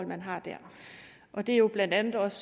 man har dér det er jo blandt andet også